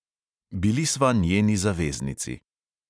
Bili sva njeni zaveznici.